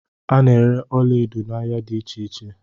A na-ere ọlaedo n'ahia dị iche iche.